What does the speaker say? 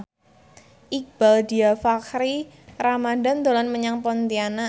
Iqbaal Dhiafakhri Ramadhan dolan menyang Pontianak